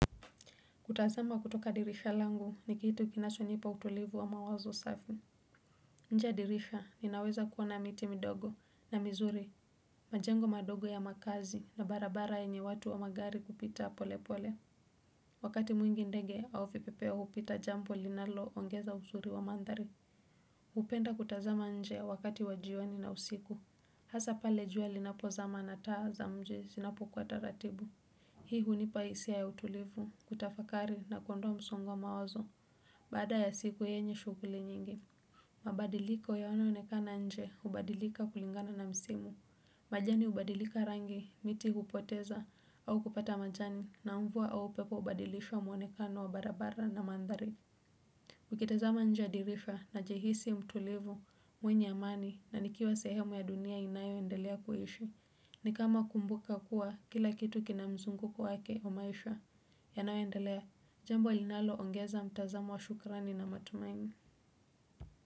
Kutazama kutoka dirisha langu ni kitu kinachonipa utulivu wa mawazo safi. Nje ya dirisha ninaweza kuona miti midogo na mizuri. Majengo madogo ya makazi na barabara yenye watu wa magari kupita pole pole. Wakati mwingi ndege au fipepeo hupita jambo linaloongeza usuri wa manthari. Hupenda kutazama nje wakati wa jioni na usiku. Hasa pale jua linapozama na taa za mji zinapokuwa taratibu. Hii hunipa hisia ya utulivu, kutafakari na kuondoa msongo wa mawazo, baada ya siku yenye shughuli nyingi. Mabadiliko yanayoonekana nje hubadilika kulingana na msimu. Majani hubadilika rangi, miti hupoteza, au kupata majani, na mvua au upepo hubadilisha mwonekano wa barabara na manthari. Nikitazama nje ya dirisha najihisi mtulivu, mwenye amani, na nikiwa sehemu ya dunia inayoendelea kuishi. Ni kama kumbuka kuwa kila kitu kina mzunguko wake wa maisha. Yanayoendelea, jambo linaloongeza mtazamo wa shukrani na matumaini.